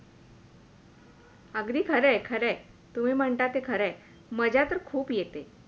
आगधी खरंय खरंय तुम्ही म्हणता ते खरंय आहे, मजा तर खूप येते